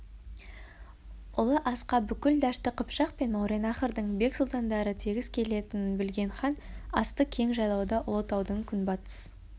ұлы асқа бүкіл дәшті қыпшақ пен мауреннахрдың бек сұлтандары тегіс келетінін білген хан асты кең жайлауда ұлытаудың күнбатыс